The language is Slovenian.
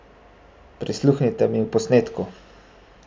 Prisluhnite mu v posnetku!